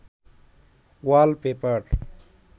ওয়াল paper